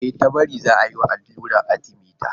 E, Tabari za a yi ma alluran Arthemether.